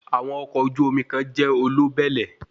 Àwọn ọkọ̀ ojú omi kan jẹ́ olóbẹ̀lẹ̀